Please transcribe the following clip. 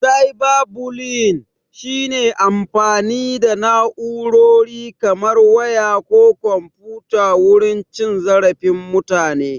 "Cyber bullying" shi ne amfani da na'urori kamar waya ko komfuta wurin cin zarafin mutane.